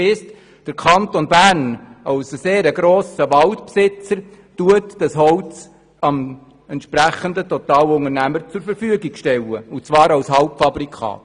Der Kanton Bern soll als sehr grosser Waldbesitzer dem Totalunternehmer das Holz zur Verfügung stellen und zwar als Halbfabrikat.